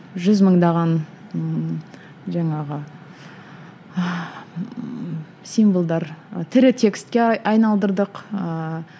жүз мыңдаған ыыы жаңағы ыыы символдар тірі текстке айналдырдық ыыы